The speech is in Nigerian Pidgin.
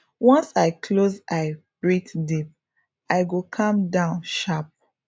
once i close eye breathe deep i go calm down sharp